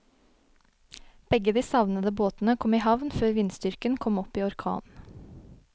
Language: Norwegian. Begge de savnede båtene kom i havn før vindstyrken kom opp i orkan.